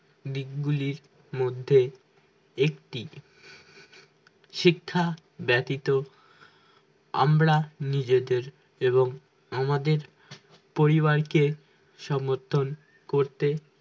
দিকগুলির মধ্যে একটি শিক্ষা ব্যাতিত আমরা নিজেদের এবং আমাদের পরিবারকে সমর্থন করতে